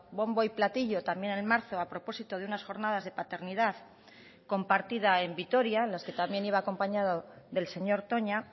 bombo y platillo también en marzo a propósito de unas jornadas de paternidad compartida en vitoria en las que también iba acompañado del señor toña